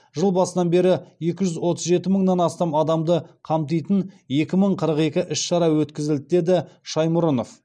жыл басынан бері екі жүз отыз жеті мыңнан астам адамды қамтитын екі мың қырық екі іс шара өткізілді деді с шаймұрынов